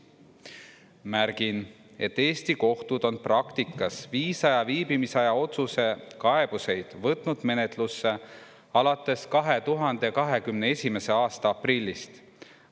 Märgin, et Eesti kohtud on praktikas viisa ja viibimisaja otsuse kaebusi võtnud menetlusse alates 2021. aasta aprillist.